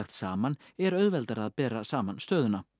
saman er auðveldara að bera saman stöðuna